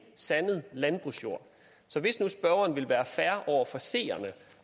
sandet landbrugsjord så hvis nu spørgeren vil være fair over for seerne